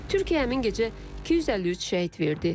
Türkiyə həmin gecə 253 şəhid verdi.